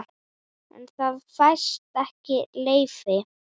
En það fæst ekki leyfi.